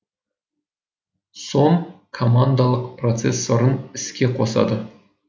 сом командалық процессорын іске қосады